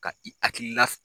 Ka i hakilila